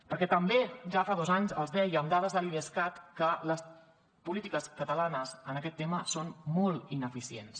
perquè també ja fa dos anys els deia amb dades de l’idescat que les polítiques catalanes en aquest tema són molt ineficients